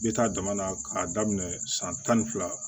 N bɛ taa jamana k'a daminɛ san tan ni fila